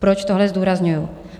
Proč tohle zdůrazňuju?